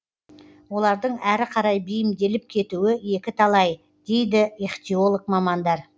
олардың әрі қарай бейімделіп кетуі екі талай дейді ихтиолог мамандар